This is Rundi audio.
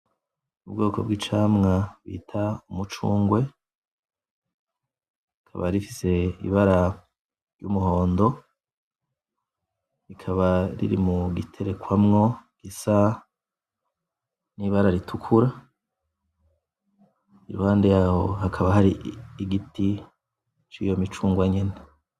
Ubwoko bw'Icamwa bita Umucungwe rikaba rifise Ibara ry'Umuhondo, ikaba riri mugiterekwamwo gisa n'ibara ritukura iruhande yaho hakaba hari Igiti ciyo micungwe nyene.